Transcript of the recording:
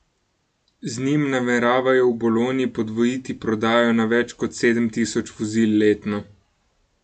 Z njim nameravajo v Bologni podvojiti prodajo na več kot sedem tisoč vozil letno.